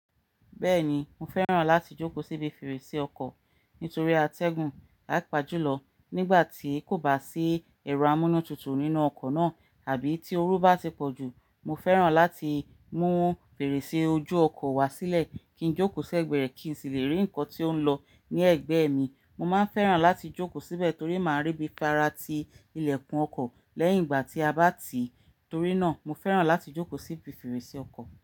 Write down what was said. Bẹ́ẹ̀ni, mo fẹ́ràn láti jókòó síbi fèrèsé ọkọ̀ nítorí atẹ́gùn papajulọ nígbà tí kò bá sí ẹ̀rọ amúnútutù nínú ọkọ̀ náà àbí tí oru bá ti pọ̀jù. Mo fẹ́ràn láti mú fèrèsé ojú ọkọ̀ wá sílẹ̀ kí n jókòó sẹ́gbẹ̀ẹ̀rẹ̀ kí n sì le rí nǹkan tí ó ń lọ ní ẹ̀gbẹ́ mi. Mo máa ń fẹ́ràn láti jókòó síbẹ̀ torí màá rí bí fara tí ilẹ̀kùn ọkọ̀ lẹ́yìn ìgbà tí a bá tì í, torí náà mo fẹ́ràn láti jókòó síbi fèrèsé ọkọ̀